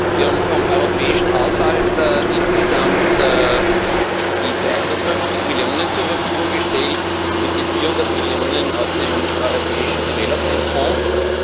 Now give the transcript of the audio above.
Wir haben vom europäischen Haushalt insgesamt die 350 Millionen zur Verfügung gestellt, mit den 400 Millionen aus dem Europäischen Entwicklungsfonds.